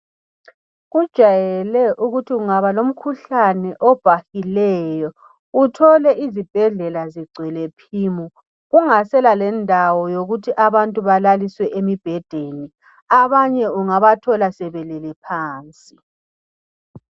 Kujayele ukuthi kungaba lomkhuhlane obhahileyo uthole izibhedlela zigcwele phimu kungasela lendawo yokuthi abantu balaliswe emibhedeni. Abanye ungabathola sebelele phansi.